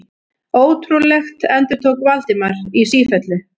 Ótrúlegt endurtók Valdimar í sífellu.